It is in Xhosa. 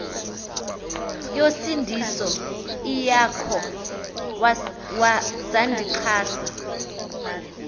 yosindiso iwakho sandixhasa